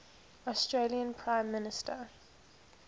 australian prime minister